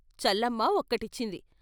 Challamma ఒకటిచ్చింది.